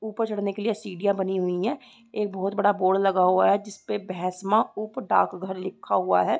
ऊपर चढ़ने के लिए सीढिया बनी हुई है एक बहुत बड़ा बोर्ड लगा हुआ है जिसपे भैसमा उप डाकघर लिखा हुआ है।